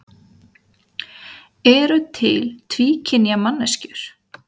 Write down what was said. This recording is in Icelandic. Eru til tvíkynja manneskjur?